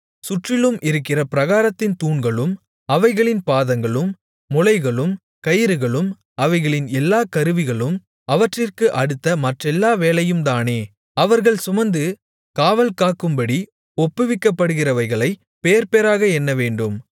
சுற்றிலும் இருக்கிற பிராகாரத்தின் தூண்களும் அவைகளின் பாதங்களும் முளைகளும் கயிறுகளும் அவைகளின் எல்லா கருவிகளும் அவற்றிற்கு அடுத்த மற்றெல்லா வேலையும்தானே அவர்கள் சுமந்து காவல்காக்கும்படி ஒப்புவிக்கப்படுகிறவைகளைப் பேர்பேராக எண்ணவேண்டும்